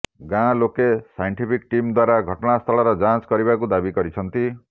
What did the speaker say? ଗାଁ ଲୋକେ scientific team ଦ୍ୱାରା ଘଟଣାସ୍ଥଳର ଯାଞ୍ଚ କରିବାକୁ ଦାବି କରିଛନ୍ତି